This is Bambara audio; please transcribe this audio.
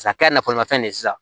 A kɛra nafolomafɛn de ye sisan